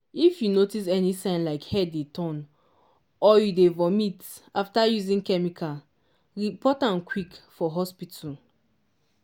i dey wear glasses glasses to guide my eyes make chemical no go jump enter when e dey for use.